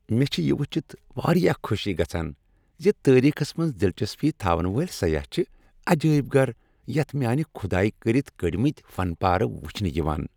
مے٘ چِھ یہِ وُچھِتھ وارِیاہ خوشی گژھان زِ تٲریخس منز دِلچسپی تھاون وٲلۍ سیاہ چھِ عجٲیب گھر یَتھ میانہِ کُھدایہِ كٔرِتھ كٔڈۍمٕتۍ فن پارٕ وُچھنہٕ یوان۔